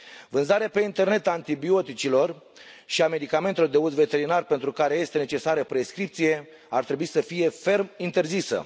Vânzarea pe internet a antibioticelor și a medicamentelor de uz veterinar pentru care este necesară prescripție ar trebui să fie ferm interzisă.